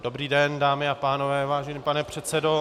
Dobrý den, dámy a pánové, vážený pane předsedo -